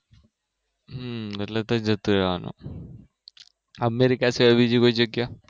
હમ એટલે ત્યાં જતું રેવાનું અમેરિકા સિવાય બીજી કોઈ જગ્યા